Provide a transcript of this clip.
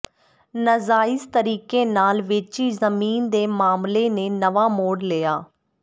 ਨਾਜਾਇਜ਼ ਤਰੀਕੇ ਨਾਲ ਵੇਚੀ ਜ਼ਮੀਨ ਦੇ ਮਾਮਲੇ ਨੇ ਨਵਾਂ ਮੋੜ ਲਿਆ